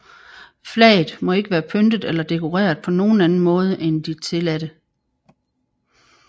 Flaget må ikke være pyntet eller dekoreret på nogen anden måde end de tilladte